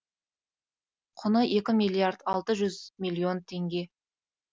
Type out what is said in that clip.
құны екі миллиард алты жүз миллион теңге